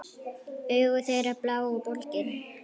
Augu þeirra blá og bólgin.